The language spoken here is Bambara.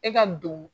E ka don